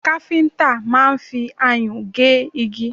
Káfíntà máà ń fi ayùn gé igi